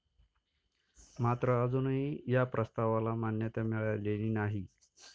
मात्र अजूनही या प्रस्तावाला मान्यता मिळालेली नाही.